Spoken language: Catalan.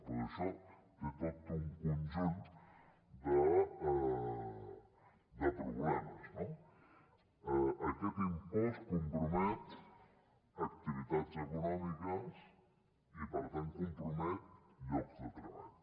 doncs això té tot un conjunt de problemes no aquest impost compromet activitats econòmiques i per tant compromet llocs de treball